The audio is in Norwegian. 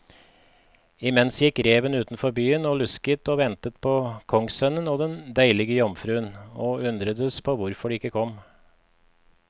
Imens gikk reven utenfor byen og lusket og ventet på kongssønnen og den deilige jomfruen, og undredes på hvorfor de ikke kom.